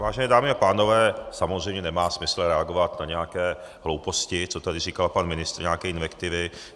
Vážené dámy a pánové, samozřejmě nemá smysl reagovat na nějaké hlouposti, co tady říkal pan ministr, nějaké invektivy.